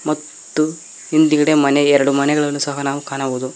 ಮತ್ತು ಹಿಂದ್ಗಡೆ ಮನೆ ಎರಡು ಮನೆಗಳನ್ನು ಸಹ ನಾವು ಕಾಣಬಹುದು.